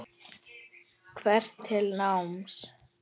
Hvetur til náms.